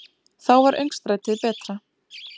Þá var öngstrætið betra.